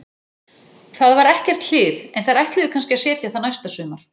Það var ekkert hlið, en þeir ætluðu kannski að setja það næsta sumar.